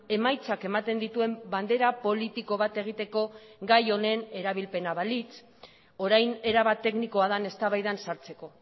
emaitzak ematen dituen bandera politiko bat egiteko gai honen erabilpena balitz orain erabat teknikoa den eztabaidan sartzeko